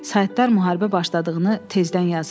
Saytlar müharibə başladığını tezdən yazır.